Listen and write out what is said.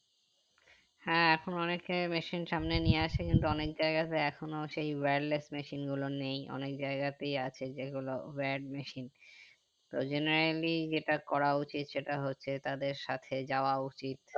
হ্যাঁ এখন অনেকে machine সামনে নিয়ে আসে কিন্তু অনেক জায়গাতে এখনো সেই wirless machine গুলো নেই অনেক জায়গাতেই আছে যেগুলো word machine তো generally যেটা করা উচিত সেটা হচ্ছে তাদের সাথে যাওয়া উচিত